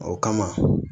O kama